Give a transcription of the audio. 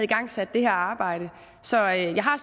igangsat det her arbejde så jeg har